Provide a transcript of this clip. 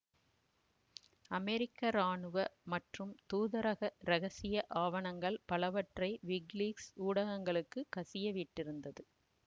அமெரிக்க இராணுவ மற்றும் தூதரக இரகசிய ஆவணங்கள் பலவற்றை விக்கிலீக்ஸ் ஊடகங்களுக்குக் கசிய விட்டிருந்தது